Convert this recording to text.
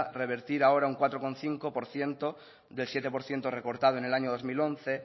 revertir ahora un cuatro coma cinco por ciento del siete por ciento recortado en el año dos mil once